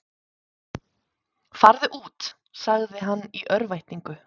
Farðu út, sagði hann í örvæntingu.